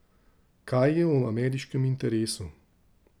Kaj je v ameriškem interesu?